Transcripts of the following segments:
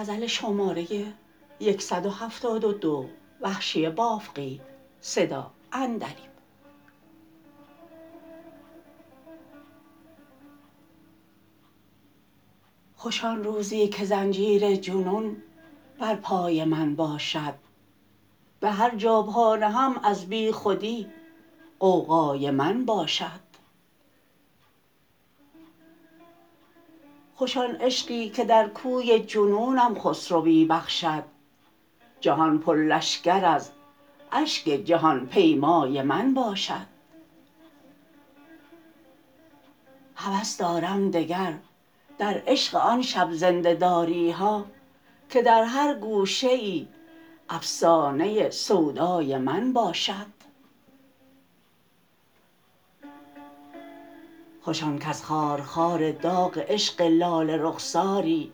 خوش آن روزی که زنجیر جنون بر پای من باشد به هر جا پا نهم از بیخودی غوغای من باشد خوش آن عشقی که در کوی جنونم خسروی بخشد جهان پر لشکر از اشک جهان پیمای من باشد هوس دارم دگر در عشق آن شب زنده داری ها که در هر گوشه ای افسانه سودای من باشد خوش آن کز خار خار داغ عشق لاله رخساری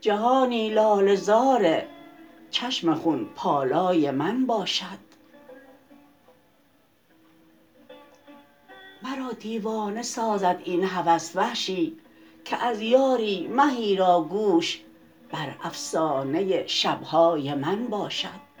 جهانی لاله زار چشم خون پالای من باشد مرا دیوانه سازد این هوس وحشی که از یاری مهی را گوش بر افسانه شبهای من باشد